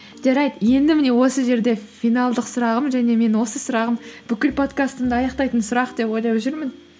жарайды енді міне осы жерде финалдық сұрағым және мен осы сұрағым бүкіл подкастымды аяқтайтын сұрақ деп ойлап жүрмін